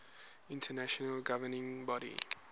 international governing body